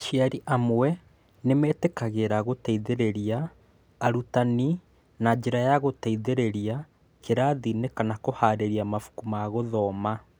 Aciari amwe nĩ metĩkagĩra gũteithĩrĩria arutani na njĩra ya gũteithĩrĩria kĩrathi-inĩ kana kũhaarĩria mabuku ma gũthoma.